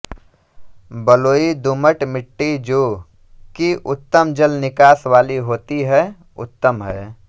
बलुईदुमटमिट्टीजो कि उत्तम जलनिकास वाली होती है उत्त्तम है